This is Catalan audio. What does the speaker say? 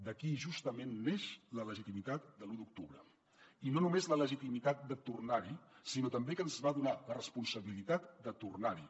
d’aquí justament neix la legitimitat de l’u d’octubre i no només la legitimitat de tornar hi sinó també que ens va donar la responsabilitat de tornar hi